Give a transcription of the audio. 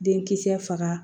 Denkisɛ faga